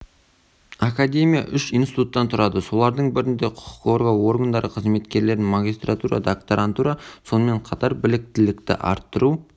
академия үш институттан тұрады солардың бірінде құқық қорғау органдары қызметкерлерін магистратура докторантура сонымен қатар біліктілікті арттыру